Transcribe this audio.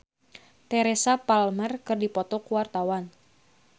Yayan Jatnika jeung Teresa Palmer keur dipoto ku wartawan